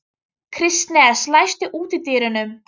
Kristens, læstu útidyrunum.